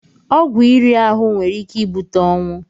Ọgwụ iri ahụ nwere ike ibute ọnwụ.